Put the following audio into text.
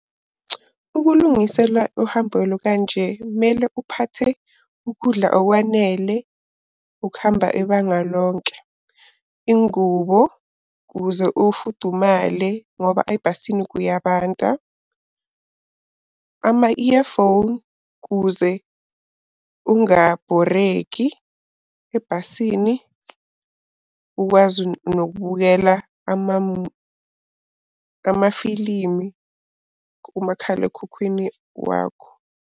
Ukulungisela uhambo olukanje kumele uphathe ukudla okwanele ukuhamba ibanga lonke. Ingubo ukuze ufudumale ngoba ebhasini kuyabanda, ama-earphone kuze ungabhoreki ebhasini. Ukwazi nokubukela amafilimi kumakhalekhukhwini wakho.